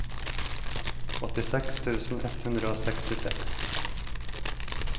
åttiseks tusen ett hundre og sekstiseks